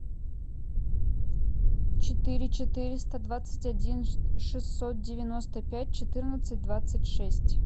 четыре четыреста двадцать один шестьсот девяносто пять четырнадцать двадцать шесть